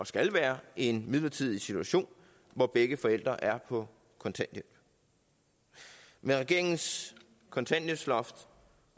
skal være en midlertidig situation hvor begge forældre er på kontanthjælp med regeringens kontanthjælpsloft